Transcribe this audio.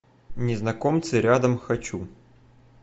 незнакомцы рядом хочу